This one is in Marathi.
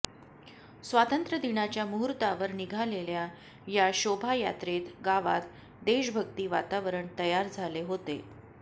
स्वातंत्र्यदिनाच्या मुहूर्तावर निघालेल्या या शोभायात्रेत गावात देशभक्ती वातावरण तयार झाले होते